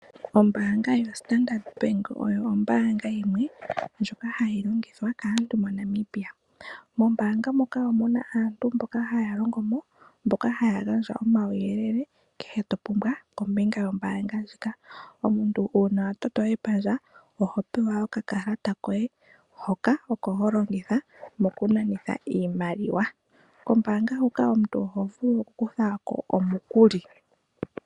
Ombaanga yo standard bank oyo ombaanga yimwe ndjoka hayi longithwa kaantu mo Namibia. Mo mbaanga muka omuna aantu haya longo mo, mboka haya gandja omauyelele kehe to pumbwa kombinga yo mbaanga ndjika. Omuntu uuna a toto epandja oho pewa oka kalata koye hoka oko ho longitha moku nanitha iimaliwa. Kombaanga huka oho vulu oku ku tha ko omukuli